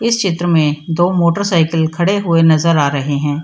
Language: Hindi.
इस चित्र में दो मोटर साइकिल खड़े हुए नजर आ रहे हैं।